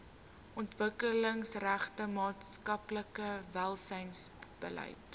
ontwikkelingsgerigte maatskaplike welsynsbeleid